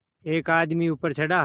एक आदमी ऊपर चढ़ा